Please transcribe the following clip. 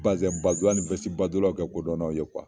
Bazinba dolaw ni wɛsibadonaw kɛ kodɔnaw ye kuwa